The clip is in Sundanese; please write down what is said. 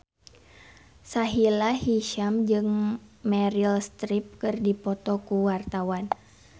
Sahila Hisyam jeung Meryl Streep keur dipoto ku wartawan